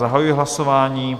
Zahajuji hlasování.